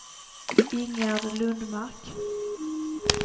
Ingegärd Lundmark